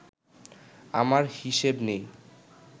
আমার হিসেব নেই